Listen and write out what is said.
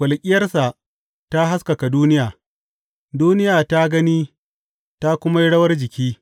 Walƙiyarsa ta haskaka duniya; duniya ta gani ta kuma yi rawar jiki.